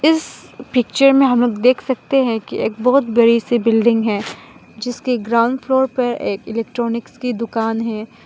इस पिक्चर में हमलोग देख सकते हैं कि एक बहोत बड़ी सी बिल्डिंग है जिसके ग्राउंड फ्लोर पर एक इलेक्ट्रॉनिक्स की दुकान है।